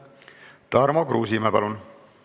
Tarmo Kruusimäe, palun!